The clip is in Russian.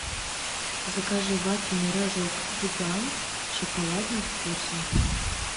закажи вафельный рожок гигант с шоколадным вкусом